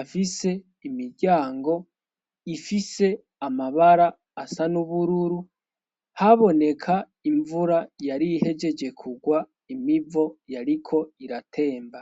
afise imiryango ifise amabara asa n'ubururu haboneka imvura yari hejeje kugwa imivo yariko iratemba.